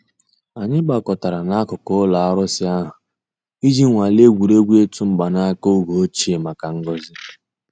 Ànyị̀ gbàkọ̀tárà n'àkùkò ǔlọ̀ àrụ̀sị̀ àhụ̀ íjì nwàlè ègwè́ré́gwụ̀ ị̀tụ̀ mgbànàkà ògè òchìè mǎká ngọ́zị̀.